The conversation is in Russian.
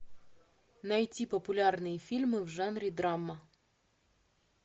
найти популярные фильмы в жанре драма